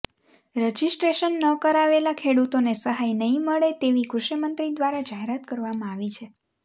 registration ન કરાવેલા ખેડૂતોને સહાય નહી મળે તેવી કૃષિમંત્રી દ્વારા જાહેરાત કરવામાં આવી છે